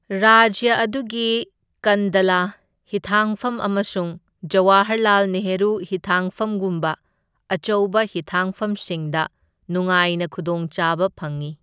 ꯔꯥꯖ꯭ꯌ ꯑꯗꯨꯒꯤ ꯀꯟꯗꯂꯥ ꯍꯤꯊꯥꯡꯐꯝ ꯑꯃꯁꯨꯡ ꯖꯋꯥꯍꯔꯂꯥꯜ ꯅꯦꯍꯔꯨ ꯍꯤꯊꯥꯡꯐꯝꯒꯨꯝꯕ ꯑꯆꯧꯕ ꯍꯤꯊꯥꯡꯐꯝꯁꯤꯡꯗ ꯅꯨꯉꯥꯏꯅ ꯈꯨꯗꯣꯡꯆꯥꯕ ꯐꯪꯢ꯫